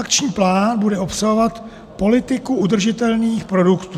Akční plán bude obsahovat politiku udržitelných produktů.